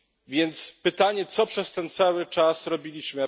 Więc pytanie Co przez ten cały czas robiliśmy?